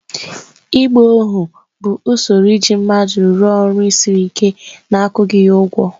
Ịgba ohu bụ usoro iji mmadụ rụọ ọrụ siri ike na-akwụghị ya ụgwọ.